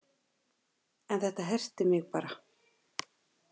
En þetta herti mig bara